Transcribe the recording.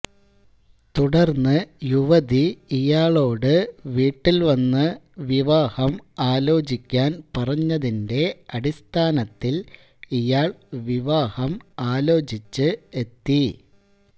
തുടര്ന്ന് യുവതി ഇയാളോട് വീട്ടില്വന്ന് വിവാഹം ആലോചിക്കാന് പറഞ്ഞതിന്റെ അടിസ്ഥാനത്തില് ഇയാള് വിവാഹം ആലോചിച്ച് എത്തി